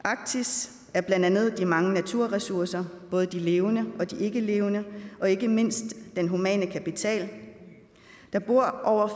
arktis er blandt andet de mange naturressourcer både de levende og de ikkelevende og ikke mindst den humane kapital der bor over